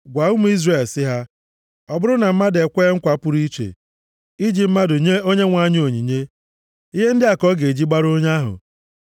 “Gwa ụmụ Izrel sị ha, ‘Ọ bụrụ na mmadụ e kwee nkwa pụrụ iche iji mmadụ nye Onyenwe anyị onyinye, ihe ndị a ka ọ ga-eji gbara onye ahụ: